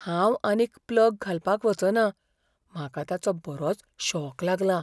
हांव आनीक प्लग घालपाक वचना, म्हाका ताचो बरोच शॉक लागलां.